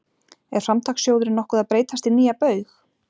Er Framtakssjóðurinn nokkuð að breytast í nýja Baug?